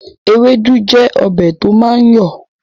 Ewédú jẹ́ ọbẹ̀ to máa ń yọ̀ọ̀